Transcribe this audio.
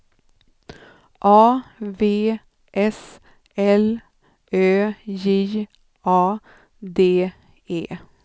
A V S L Ö J A D E